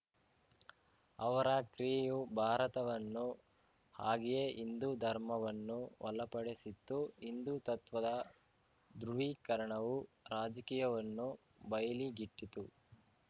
ಅವರ ಕ್ರಿಯೆಯು ಭಾರತವನ್ನು ಹಾಗೆಯೇ ಹಿಂದು ಧರ್ಮವನ್ನೂ ವಲಪಡಿಸಿತ್ತು ಹಿಂದುತ್ವದ ಧ್ರುವೀಕರಣವು ರಾಜಕೀಯವನ್ನು ಬಯಲಿಗಿಟ್ಟಿತು